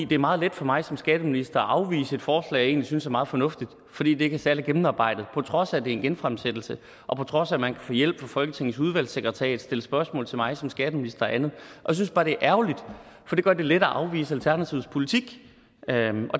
det er meget let for mig som skatteminister at afvise et forslag jeg egentlig synes er meget fornuftigt fordi det ikke er særlig gennemarbejdet på trods af at det er en genfremsættelse og på trods af at man kan få hjælp fra folketingets udvalgssekretariat stille spørgsmål til mig som skatteminister og andet jeg synes bare det er ærgerligt for det gør det let at afvise alternativets politik